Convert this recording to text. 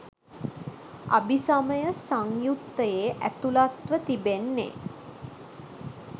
අභිසමය සංයුත්තයේ ඇතුළත්ව තිබෙන්නේ